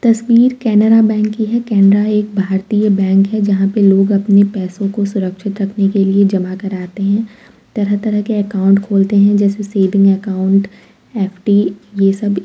तस्वीर केनरा बैंक की है केनरा एक भारतीय बैंक है। जहाँ पे लोग अपने पैसों को सुरक्षित रखने के लिए जमा कराते हैं तरह-तरह के अकाउंट खोलते हैं जैसे सेविंग अकाउंट एफ.डी. ये सब --